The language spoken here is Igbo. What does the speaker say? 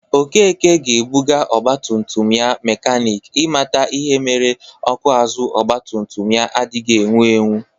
Okeke ga-ebụga ọgbatumtum ya mekanik i mata ihe mere ọkụ azụ ọgbatumtum ya adịghị ewu ewu